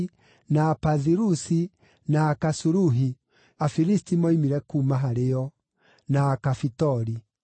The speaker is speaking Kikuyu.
na Apathirusi, na Akasuluhi (Afilisti moimire kuuma harĩ o), na Akafitori.